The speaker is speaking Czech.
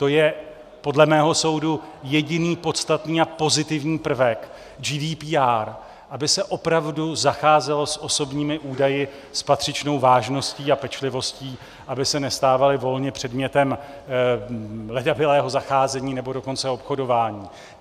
To je podle mého soudu jediný podstatný a pozitivní prvek GDPR, aby se opravdu zacházelo s osobními údaji s patřičnou vážností a pečlivostí, aby se nestávaly volně předmětem ledabylého zacházení, nebo dokonce obchodování.